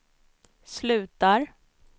slutar